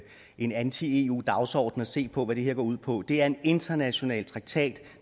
en anti eu dagsorden og se på hvad det her går ud på det er en international traktat